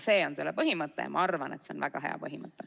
See on põhimõte ja ma arvan, et see on väga hea põhimõte.